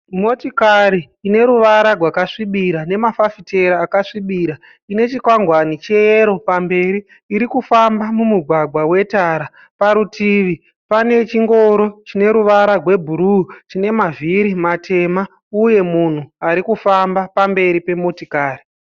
Motikari ine ruvara gwakasvibira nemafafafiteri akasvibira ine chikwangwani cheyero pamberi, iri kufamba mumugwagwa wetara. Parutivi pane chingoro chine ruvara gwebhuruu chine mavhiri matema, uye munhu ari kufamba pamberi pemotikari.